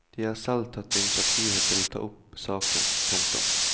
De har selv tatt initiativ til å ta opp saken. punktum